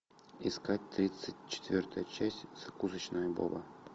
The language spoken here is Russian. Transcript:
искать тридцать четвертая часть закусочная боба